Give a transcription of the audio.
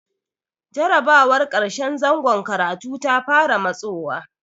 Jarrabawar ƙarshen zangon karatu ta fara matsowa.